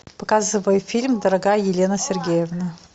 показывай фильм дорогая елена сергеевна